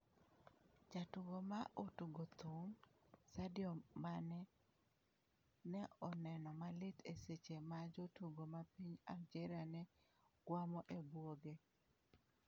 Jatugo ma otugo thum, Sadio Mane, ne oneno malit e seche ma jotugo ma piny Algeria ne gwamo e buoge.